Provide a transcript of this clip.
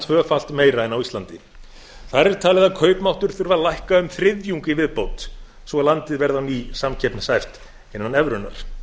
tvöfalt meira en á íslandi þar er talið að kaupmáttur þurfi að lækka um þriðjung í viðbót svo landið verði á ný samkeppnishæft innan evrunnar